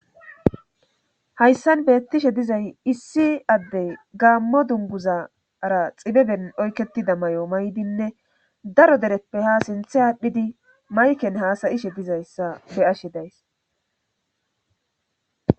hayssan beettishe dizay issi addey gaammo dunguzara xibeben oykketida may7o maydinne daro dereppe ha sinthe aadhdhidi mayken haasayishe dizayssa be'ashe days